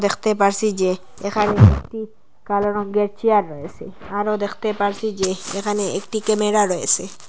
দেখতে পারসি যে এখানে একটি কালো রঙের চেয়ার রয়েসে আরও দ্যাখতে পারসি যে এখানে একটি ক্যামেরা রয়েসে।